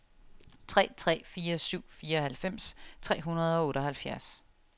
tre tre fire syv fireoghalvfems tre hundrede og otteoghalvfjerds